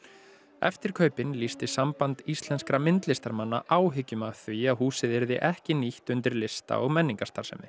eftir kaupin lýsti Samband íslenskra myndlistarmanna áhyggjum af því að húsið yrði ekki nýtt undir lista og menningarstarfsemi